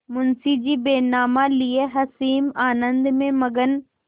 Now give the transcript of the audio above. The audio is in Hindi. मुंशीजी बैनामा लिये असीम आनंद में मग्न